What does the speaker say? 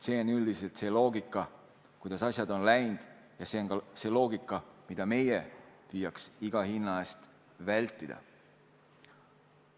See on üldiselt see loogika, kuidas asjad on läinud, ja see on loogika, mida meie peaksime püüdma iga hinna eest vältida.